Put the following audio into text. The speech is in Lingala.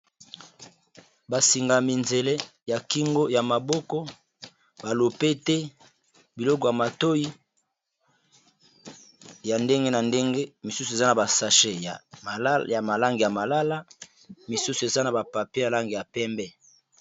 Basingami nzele ya kingo ya maboko balope te biloko ya matoi ya ndenge na ndenge misusu eza na ba sache ya malangi ya malala misusu eza na bapapie malangi ya pembe.